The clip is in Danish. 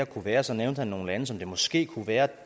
kunne være og så nævnte han nogle lande som det måske kunne være